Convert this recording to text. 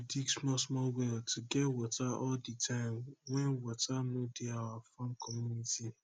dey dig small small well to get water all the time wen water no dey our farm community